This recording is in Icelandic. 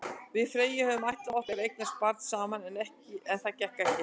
Við Freyja höfðum ætlað okkur að eignast barn saman, en það gekk ekki.